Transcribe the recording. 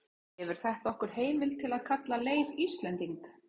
gefur þetta okkur heimild til að kalla leif íslending